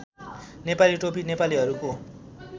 नेपाली टोपी नेपालीहरूको